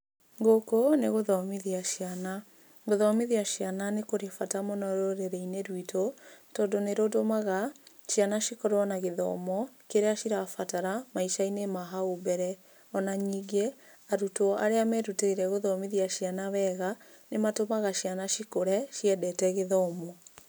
Gũkũ nĩ gũthomithia ciana. Gũthomithia ciana nĩ kũrĩ bata rũrĩrĩ-inĩ rwitũ, tondũ nĩrũtũmaga ciana cikorwo na gĩthomo kĩrĩa cirabata maica-inĩ mahau mbere. Ona ningĩ, arutwo arĩa merutĩire gũthomithia ciana wega, nĩmatũmaga ciana cikũre ciendete gĩthomo.